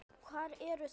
Hvar eru þær?